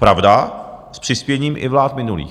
Pravda, s přispěním i vlád minulých.